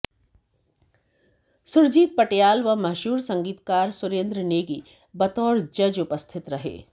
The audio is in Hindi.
सुरजीत पटियाल व मशहूर संगीतकार सुरेंद्र नेगी बतौर जज उपस्थित रहे